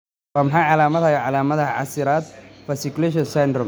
Waa maxay calaamadaha iyo calaamadaha casiraad fasciculation syndrome?